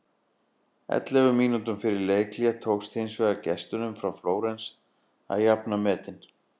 Ellefu mínútum eftir leikhlé tókst hins vegar gestunum frá Flórens að jafna metin.